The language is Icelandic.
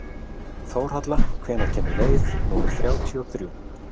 Þórhalla, hvenær kemur leið númer þrjátíu og þrjú?